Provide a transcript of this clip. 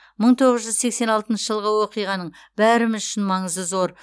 мың тоғыз жүз сексен алтыншы жылғы оқиғаның бәріміз үшін маңызы зор